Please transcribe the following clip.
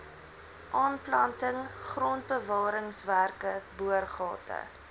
aanplanting grondbewaringswerke boorgate